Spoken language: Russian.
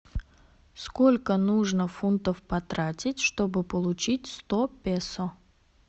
сколько нужно фунтов потратить чтобы получить сто песо